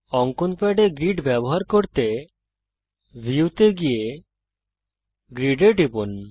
ভিউতে গিয়ে এবং গ্রিড বিকল্পের উপর পরীক্ষা করে আপনি অঙ্কন প্যাডে গ্রিড ব্যবহার করতে পারেন